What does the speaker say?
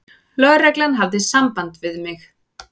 Lögreglan hafði samband við mig.